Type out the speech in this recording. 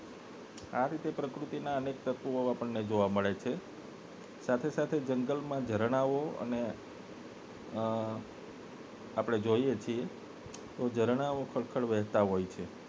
આ રીતે પ્રકૃતિ ના અનેક તત્વો આપને જોવા મળે છે અને સાથે સાથે જંગલ માં ઝરણાં ઓ અને અ આપને જોઈએ છીએ તો ઝરણાઓ ખડખડ વહેતાં હોય છે